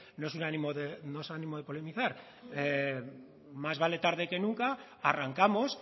no es un ánimo de polemizar más vale tarde que nunca arrancamos